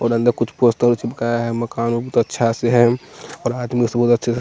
और अंदर कुछ पोस्टर चिपकाया है मकान बहुत अच्छा से है और आदमी अच्छे से--